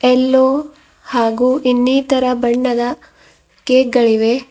ಎಲ್ಲೋ ಹಾಗೂ ಇನ್ನಿತರ ಬಣ್ಣದ ಕೇಕ್ ಗಳಿವೆ.